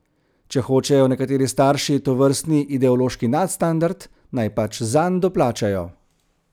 Če hočejo nekateri starši tovrstni ideološki nadstandard, naj pač zanj doplačajo.